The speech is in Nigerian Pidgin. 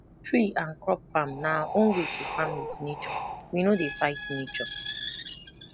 tree and crop farm na our own way to farm with nature we no dey fight nature